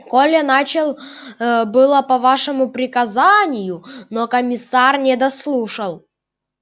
коля начал было по вашему приказанию но комиссар не дослушал